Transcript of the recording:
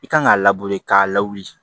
I kan k'a k'a lawuli